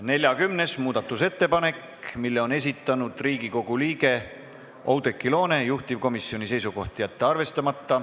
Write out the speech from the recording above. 40. muudatusettepaneku on esitanud Riigikogu liige Oudekki Loone, juhtivkomisjoni seisukoht: jätta see arvestama.